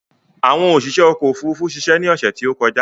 Ṣé àwọn oṣiṣé ọkò òfurufú ṣiṣe ni ọ̀sè tí ó kọjá?